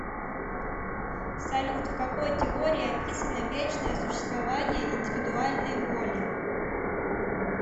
салют в какой теории описано вечное существование индивидуальной воли